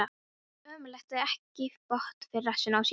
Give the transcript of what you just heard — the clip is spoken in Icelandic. Ömurlegt að eiga ekki bót fyrir rassinn á sér.